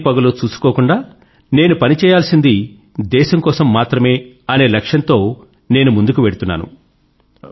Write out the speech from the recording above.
రాత్రి పగలు చూసుకోకుండా నేను పని చేయ్యాల్సినది దేశం కోసం మాత్రమే అనే లక్ష్యం తో నేను ముందుకు వెళ్తున్నాను